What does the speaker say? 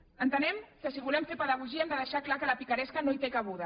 entenem que si volem fer pedagogia hem de deixar clar que la picaresca no hi té cabuda